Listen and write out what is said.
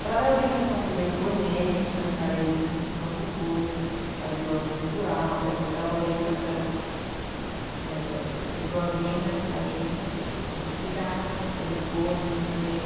para dar orientação de lei Rouanet, que é a lei de incentivo à cultura, a lei do audiovisual, então a gente dava orientação, é... a pessoa vinha até a gente, a gente explicava por telefone, por e-mail,